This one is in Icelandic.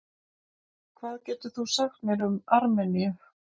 Hvað getur þú sagt mér um Armeníu?